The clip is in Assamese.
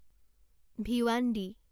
ভিৱান্দী